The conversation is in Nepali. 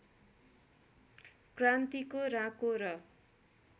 क्रान्तिको राँको र